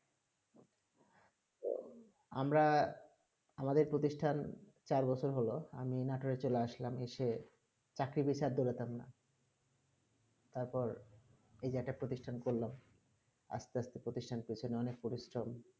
আমরা আমাদের প্রতিষ্টা চার বছর হলো আমি নাটুরে চলে আসলাম এসে চাকরি বিচার দলাতাম না তার এই যেটা প্রশিতিতান করলাম আস্তে আস্তে পরীস্থান পিছনে অনেক পরিশ্রম